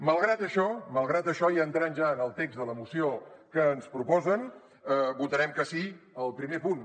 malgrat això malgrat això i entrant ja en el text de la moció que ens proposen votarem que sí al primer punt